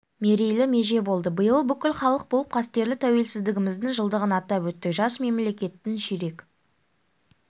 мерейлі меже болды биыл бүкіл халық болып қастерлі тәуелсіздігіміздің жылдығын атап өттік жас мемлекеттің ширек